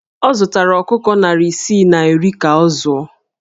Ọ zụtara ọkụkọ narị isii na iri ka ọ zụọ